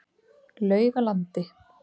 Laugalandi